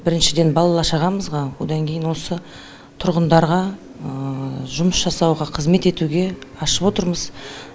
біріншіден бала шағамызға одан кейін осы тұрғындарға жұмыс жасауға қызмет етуге ашып отырмыз